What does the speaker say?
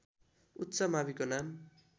उच्च माविको नाम